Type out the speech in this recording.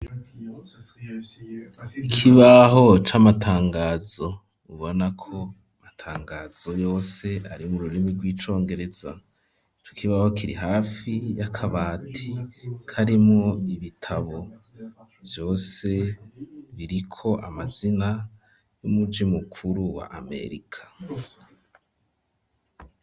Ikibaho c'amatangazo ,ubonako amatangazo yose ari mu rurimi rw'icongereza ,ico kibaho kiri hafi y'akabati karimwo ibitabo vyose biriko amazina y'umuji mukuru wa Amerika.